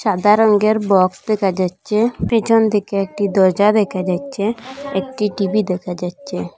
সাদা রংয়ের বক্স দেখা যাচ্ছে পিছন দিকে একটি দরজা দেখা যাচ্ছে একটি টি_ভি দেখা যাচ্ছে।